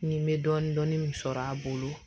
Ni n bɛ dɔɔnin dɔɔnin min sɔrɔ a bolo